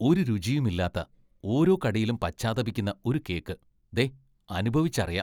ഒരു രുചിയുമില്ലാത്ത, ഓരോ കടിയിലും പശ്ചാത്തപിക്കുന്ന ഒരു കേക്ക് ദേ അനുഭവിച്ചറിയാം.